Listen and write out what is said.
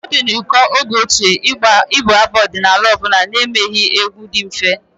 It was rare in the time of old to sing any folk Song without making a simple dancing step.